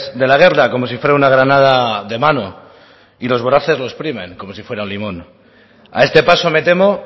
de la guerra como si fuera una granada de mano y los voraces lo exprimen como si fuera un limón a esta paso me temo